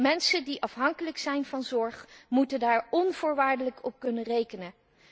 Mensen die afhankelijk zijn van zorg, moeten daar onvoorwaardelijk op kunnen rekenen.